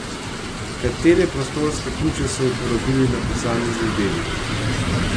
Katere prostorske ključe so uporabili na posameznih delih?